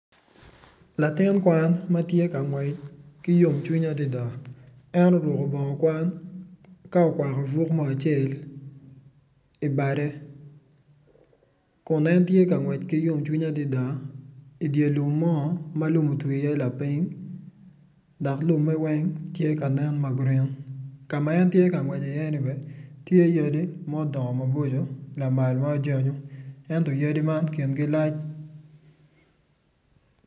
Latin kwan ma tye ka gwec ki yomcwiny adida en oruku bongo kwan ka okwako fuk mo acel i bade kun en tye ka ngwec ki yomcwiny adida idyer lum mo ma lum otwi iye lapiny dok lume weny tye ka nen ma gurin ka ma en tye ka ngwec i iye-ni bene tye yadi ma odongo lamal maboco ma ojanyo ento yadi man kingi lac